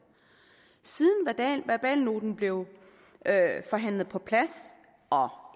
siden verbalnoten blev forhandlet på plads og